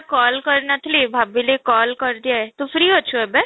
call କରିନଥିଲି ଭାବିଲି call କରିଦିଏ ତୁ free ଅଛୁ ଏବେ?